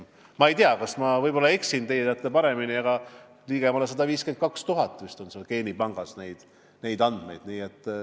Ma ei tea, võib-olla ma eksin, teie teate paremini, aga ligemale 152 000 inimese andmed on vist geenipangas.